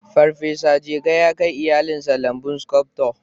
Farfesa Jega ya kai iyalinsa lambun sculptor